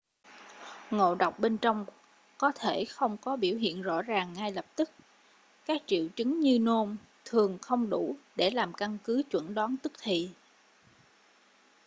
ngộ độc bên trong có thể không có biểu hiện rõ ràng ngay lập tức các triệu chứng như nôn thường không đủ để làm căn cứ chẩn đoán tức thì